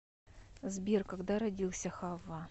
сбер когда родился хавва